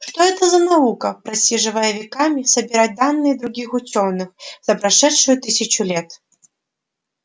что это за наука просиживая веками собирать данные других учёных за прошедшую тысячу лет